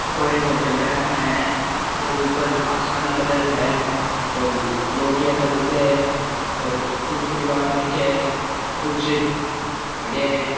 यह एक hotel type मे है ऊपर आसमानी कलर है और लोटिया सा जगे है और कुछ परिवार बैठे हैं कुछ खड़या हैं।